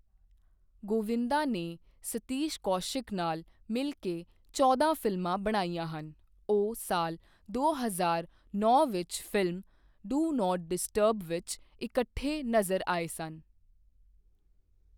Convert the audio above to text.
ਗੋਵਿੰਦਾ ਨੇ ਸਤੀਸ਼ ਕੌਸ਼ਿਕ ਨਾਲ ਮਿਲ ਕੇ ਚੌਦਾਂ ਫਿਲਮਾਂ ਬਣਾਈਆਂ ਹਨ, ਉਹ ਸਾਲ ਦੋ ਹਜ਼ਾਰ ਨੌਂ ਵਿੱਚ ਫ਼ਿਲਮ, ਡੋ ਨੋਟ ਡਿਸਟਰਬ ਵਿੱਚ ਇਕੱਠੇ ਨਜ਼ਰ ਆਏ ਸਨ I